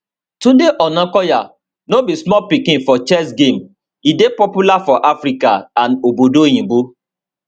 tunde onakoya no be small pikin for chess game e dey popular for africa and obodo oyinbo